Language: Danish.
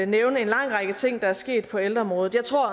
nævne en lang række ting der er sket på ældreområdet jeg tror